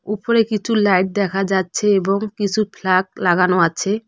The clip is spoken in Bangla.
উপরে কিছু লাইট দেখা যাচ্ছে এবং কিছু ফ্ল্যাগ লাগানো আছে।